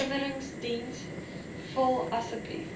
afleweringsdiens vul asseblief